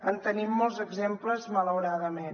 en tenim molts exemples malauradament